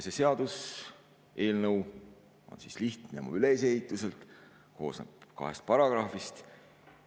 See seaduseelnõu on lihtne ja koosneb kahest paragrahvist.